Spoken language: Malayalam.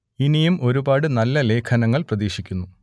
ഇനിയും ഒരുപാട് നല്ല ലേഖനങ്ങൾ പ്രതീക്ഷിക്കുന്നു